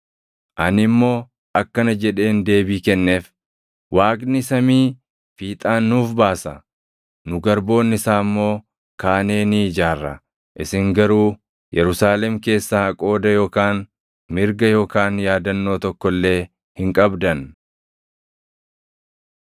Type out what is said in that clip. Ani immoo akkana jedheen deebii kenneef; “Waaqni samii fiixaan nuuf baasa. Nu garboonni isaa immoo kaanee ni ijaarra; isin garuu Yerusaalem keessaa qooda yookaan mirga yookaan yaadannoo tokko illee hin qabdan.”